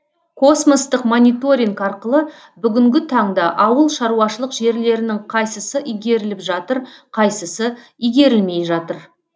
космостық мониторинг арқылы бүгінгі таңда ауылшаруашылық жерлерінің қайсысы игеріліп жатыр қайсысы игерілмей жатыр